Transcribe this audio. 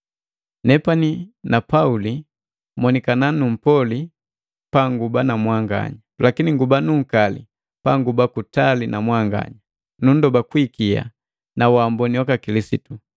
Nepani na Pauli monikana mpoli panguba na mwanganya, lakini nguba nuukali panguba kutali na mwanganya, nundoba kwi ikia na waamboni waka Kilisitu.